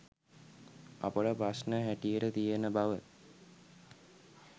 අපට ප්‍රශ්න හැටියට තියෙන බව